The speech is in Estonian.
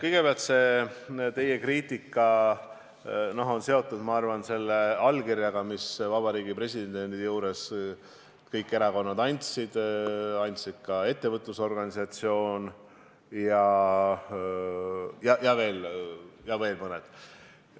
Kõigepealt, see teie kriitika on seotud, ma arvan, selle allkirjaga, mille kõikide erakondade esindajad Vabariigi Presidendi juures andsid, samuti ettevõtlusorganisatsioon ja veel mõned.